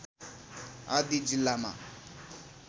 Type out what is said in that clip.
आदि जिल्लामा